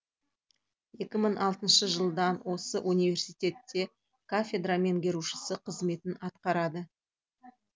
екі мың алтыншы жылдан осы университетте кафедра меңгерушісі қызметін атқарады